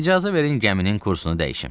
İcazə verin gəminin kursunu dəyişim.